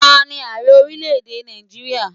Ta ní Ààrẹ orílẹ̀ èdè Nàìjíríà?